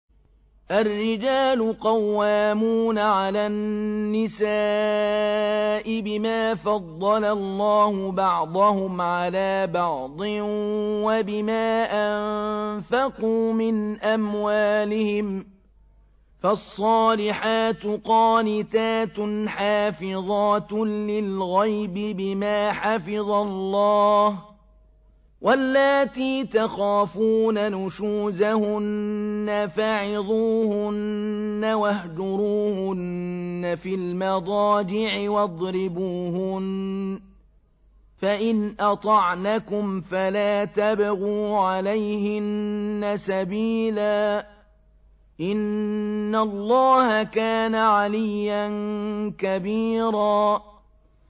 الرِّجَالُ قَوَّامُونَ عَلَى النِّسَاءِ بِمَا فَضَّلَ اللَّهُ بَعْضَهُمْ عَلَىٰ بَعْضٍ وَبِمَا أَنفَقُوا مِنْ أَمْوَالِهِمْ ۚ فَالصَّالِحَاتُ قَانِتَاتٌ حَافِظَاتٌ لِّلْغَيْبِ بِمَا حَفِظَ اللَّهُ ۚ وَاللَّاتِي تَخَافُونَ نُشُوزَهُنَّ فَعِظُوهُنَّ وَاهْجُرُوهُنَّ فِي الْمَضَاجِعِ وَاضْرِبُوهُنَّ ۖ فَإِنْ أَطَعْنَكُمْ فَلَا تَبْغُوا عَلَيْهِنَّ سَبِيلًا ۗ إِنَّ اللَّهَ كَانَ عَلِيًّا كَبِيرًا